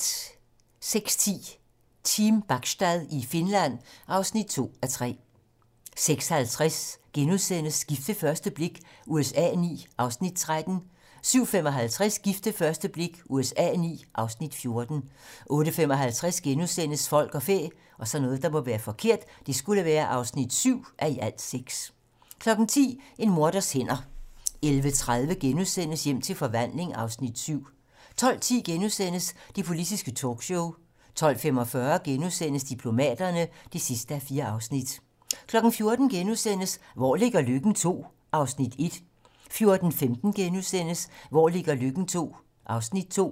06:10: Team Bachstad i Finland (2:3) 06:50: Gift ved første blik USA IX (Afs. 13)* 07:55: Gift ved første blik USA IX (Afs. 14)* 08:55: Folk og fæ (7:6)* 10:00: En morders hænder 11:30: Hjem til forvandling (Afs. 7)* 12:10: Det politiske talkshow * 12:45: Diplomaterne (4:4)* 14:00: Hvor ligger Løkken? II (Afs. 1)* 14:15: Hvor ligger Løkken? II (Afs. 2)*